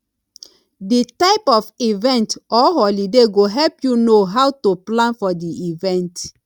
the type of event or holiday go help you know how to plan for di event